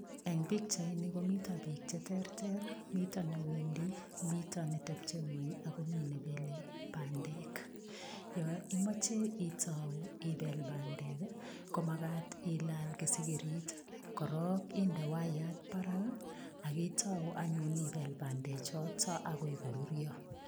Eng pichaini, komito biik cheterter. Mito ne wendi, mito netebche eng ngwony ago mi nebelei bandek. Yo imoche itau ibel bandek ko magat ilal kisigirit. Korok inde waiyat barak ak itau anyun ibel bandechoto agoi koruruo.